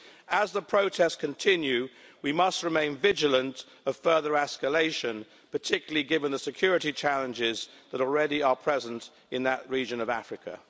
As the protests continue, we must remain vigilant of further escalation, particularly given the security challenges that already are present in that region of Africa.